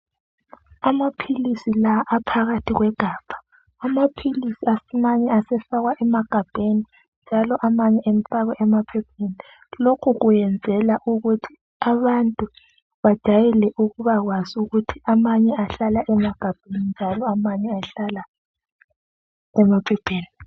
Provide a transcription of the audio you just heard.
Amaphilisi la aphakathi kwegabha amaphilisi asinaye asefakwa emagabheni njalo amanye afakwe emaphepheni lokhu kwenzelwa ukuthi abantu bajwayele ukuthi bajayele ukuba kwazi ukuthi amanye ahlala emagabheni njalo amanye ahlala emaphepheni.